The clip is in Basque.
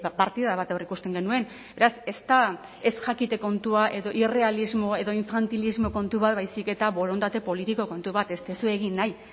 partida bat aurreikusten genuen beraz ez da ez jakite kontua edo irrealismo edo infantilismo kontu bat baizik eta borondate politiko kontu bat ez duzue egin nahi